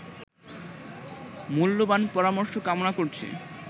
মূল্যবান পরামর্শ কামনা করছি